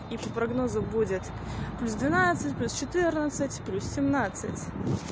и по прогнозам будет плюс двенадцать плюс четырнадцать плюс семнадцать